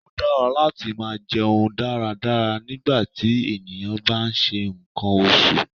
Ó dára láti máa jẹun dáradára nígbàtí ènìyàn bá ń ṣe nǹkan oṣù.